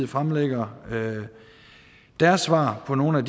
fremlægger deres svar på nogle af